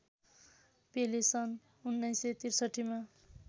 पेले सन् १९६३ मा